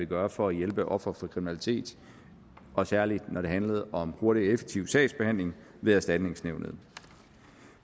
gøre for at hjælpe ofre for kriminalitet og særlig når det handlede om hurtig og effektiv sagsbehandling ved erstatningsnævnet